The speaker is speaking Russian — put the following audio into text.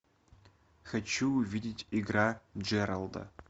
хочу увидеть игра джералда